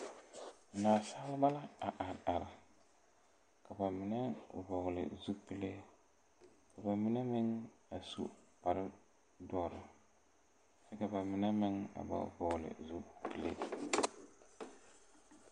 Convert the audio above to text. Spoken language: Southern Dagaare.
Naasaalba a are are ka ba mine vɔgle zupile ka ba mine meŋ a su kparre dɔre kyɛvka ba mine meŋ a ba vɔgle zupile.